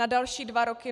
Na další dva roky?